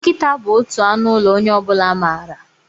Nkịta bụ otu anụ ụlọ onye ọ bụla maara.